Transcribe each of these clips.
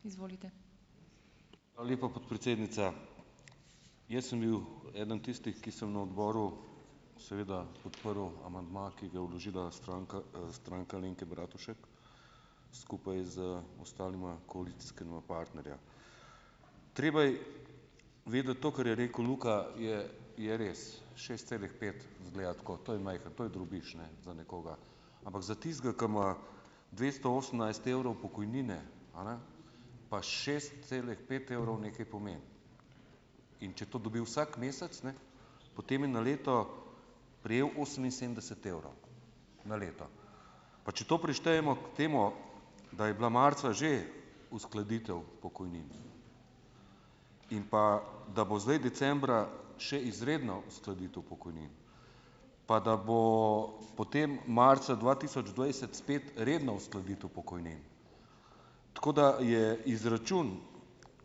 Hvala lepa, podpredsednica. Jaz sem bil eden tistih, ki sem na odboru seveda podprl amandma, ki ga je vložila Stranka, Stranka Alenke Bratušek skupaj z ostalima koalicijskima partnerja. Treba vedeti to, kar je rekel Luka, je je res, šest celih pet, izgleda tako, to je majhen, to je drobiž, za nekoga. Ampak za tistega, ki ima dvesto osemnajst evrov pokojnine, a ne, pa šest celih pet evrov nekaj pomeni. In če to dobi vsak mesec, potem je na leto prejel oseminsedemdeset evrov na leto. Pa če to prištejemo k temu, da je bila marca že uskladitev pokojnin in pa da bo zdaj decembra še izredna uskladitev pokojnin, pa da bomo potem marca dva tisoč dvajset spet redna uskladitev pokojnin, tako da je izračun,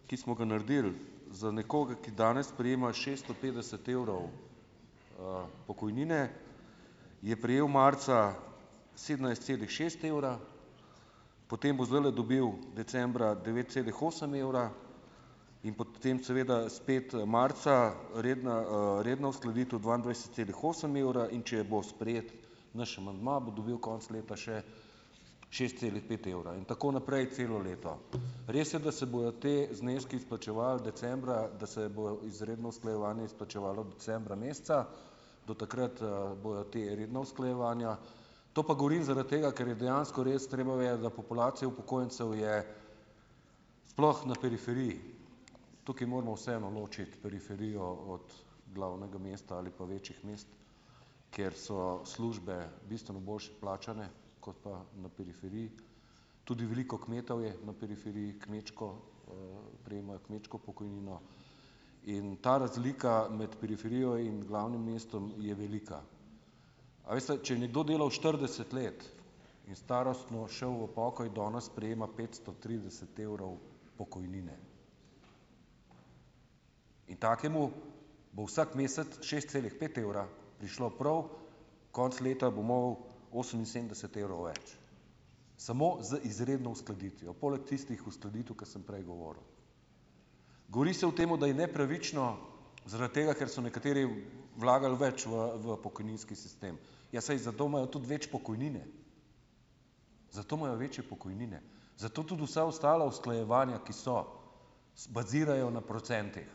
ki smo ga naredili, za nekoga, ki danes prejema šesto petdeset evrov, pokojnine, je prejel marca sedemnajst celih šest evra, potem bo zdajle dobil decembra devet celih osem evra in potem seveda spet marca, redna, redna uskladitev dvaindvajset celih osem evra, in če bo sprejet naš amandma, bo dobil konec leta še šest celih pet evra in tako naprej celo leto. Res je, da se bojo ti zneski izplačevali decembra, da se bo izredno usklajevanje izplačevalo decembra meseca, do takrat, bojo ta redna usklajevanja. To pa govorim zaradi tega, ker je dejansko res treba vedeti, da populacija upokojencev je, sploh na periferiji, tukaj moramo vseeno ločiti periferijo od glavnega mesta ali pa večjih mest, kjer so službe bistveno boljše plačane kot pa na periferiji. Tudi veliko kmetov je na periferiji, kmečko, prejemajo kmečko pokojnino. In ta razlika med periferijo in glavnim mestom je velika. A veste, če je nekdo delal štirideset let in starostno šel v pokoj, danes prejema petsto trideset evrov pokojnine. In takemu bo vsak mesec šest celih pet evra prišlo prav, konec leta bo imel oseminsedemdeset evrov več samo z izredno uskladitvijo, poleg tistih uskladitev, ke sem prej govoril. Govori se o temu, da je nepravično zaradi tega, ker so nekateri vlagali več v v pokojninski sistem. Ja, saj zato imajo tudi več pokojnine. Zato imajo večje pokojnine. Zato tudi vsa ostala usklajevanja, ki so, bazirajo na procentih,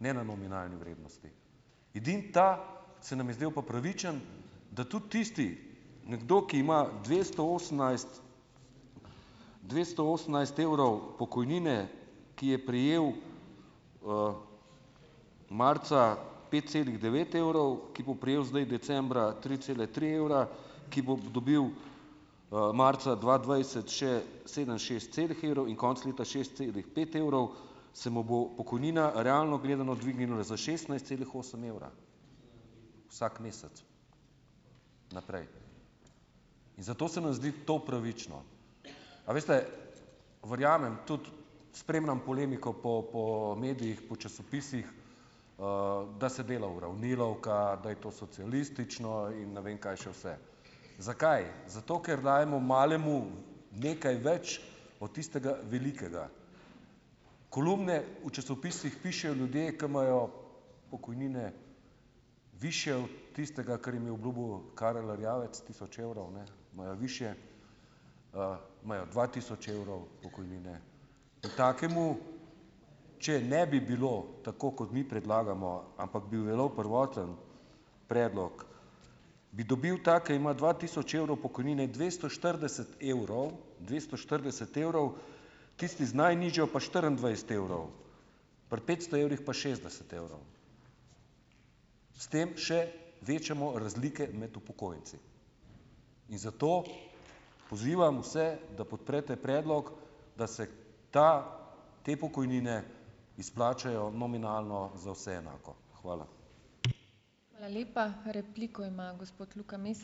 ne na nominalni vrednosti. Edino ta se nam je zdelo pa pravičen, da tudi tisti, nekdo, ki ima dvesto osemnajst, dvesto osemnajst evrov pokojnine, ki je prejel, marca pet celih devet evrov, ki bo prejel zdaj decembra tri cele tri evra, ki bo dobil, marca dva dvajset še sedem šest celih evrov in konec leta šest celih pet evrov, se mu bo pokojnina realno gledala dvignila za šestnajst celih osem evra vsak mesec naprej. In zato se nam zdi to pravično. A veste. Verjamem tudi, spremljam polemiko po po medijih, po časopisih, da se dela uravnilovka, da je to socialistično in ne vem kaj še vse. Zakaj? Zato, ker dajemo malemu nekaj več od tistega velikega. Kolumne v časopisih pišejo ljudje, ki imajo pokojnine višje od tistega, kar jim je obljubil Karl Erjavec, tisoč evrov, imajo višje, imajo dva tisoč evrov pokojnine. In takemu, če ne bi bilo tako, kot mi predlagamo, ampak bi veljal prvoten predlog, bi dobil ta, ki ima dva tisoč evrov pokojnine dvesto štirideset evrov, dvesto štirideset evrov, tisti z najnižjo pa štiriindvajset evrov, pri petsto evrih pa šestdeset evrov. S tem še večamo razlike med upokojenci. In zato pozivam vse, da podprete predlog, da se ta te pokojnine izplačajo nominalno za vse enako. Hvala.